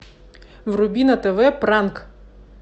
вруби на тв пранк